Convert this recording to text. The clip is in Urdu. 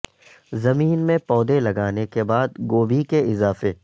زمین میں پودے لگانے کے بعد گوبھی کے اضافے